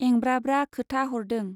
एंब्रा ब्रा खोथा हरदों।